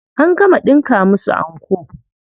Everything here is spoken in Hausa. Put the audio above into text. An gama ɗinka musu anko.